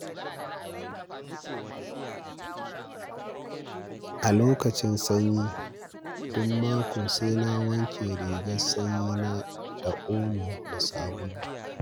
A lokacin sanyi, duk mako sai na wanke rigar sanyina da omo da sabulu.